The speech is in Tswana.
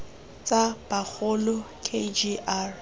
tsa bagolo k g r